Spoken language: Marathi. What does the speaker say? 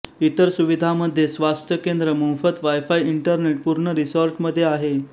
इतर सुविधामध्ये स्वास्थ्य केंद्र मोफत वाय फाय इंटरनेट पूर्ण रिसॉर्ट मध्ये आहेत